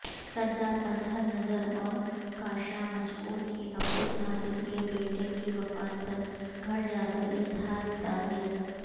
سردار اظہر نذراورکاشان مسعود کی عبدالقادر کےبیٹے کی وفات پرگھرجا کراظہارتعزیت